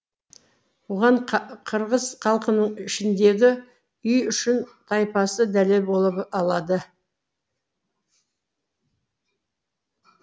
бұған қырғыз халқының ішіндегі үйшун тайпасы дәлел бола алады